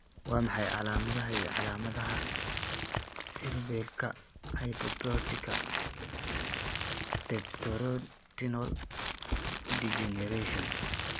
Waa maxay calaamadaha iyo calaamadaha Cerebellaka hypoplasika tapetoretinal degeneration?